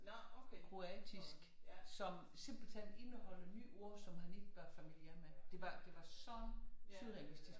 Kroatisk som simpelthen indeholdt nye ord som han ikke var familiær med det var så surrealistisk